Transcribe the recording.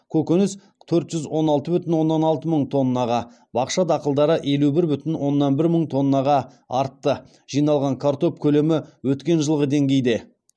көкөніс төрт жүз он алты бүтін оннан алты мың тоннаға бақша дақылдары елу бір бүтін оннан бір мың тоннаға артты жиналған картоп көлемі өткен жылғы деңгейде